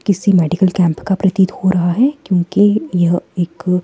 किसी medical camp का प्रतीत हो रहा है क्योंकि यह एक--